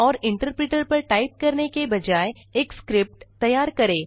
और इंटरप्रिटर पर टाइप करने के बजाय एक स्क्रिप्ट तैयार करें